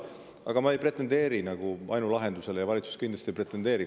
Aga ma ei pretendeeri ainulahendusele ja valitsus kindlasti ka ei pretendeeri.